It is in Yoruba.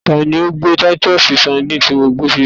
Ta ni o gbé Titus Sandine ti mo gbé síbí?